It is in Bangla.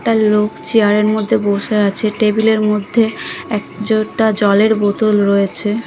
একটা লোক চেয়ারের মধ্যে বসে আছে টেবিলের মধ্যে একজোটা জলের বোতল রয়েছে ।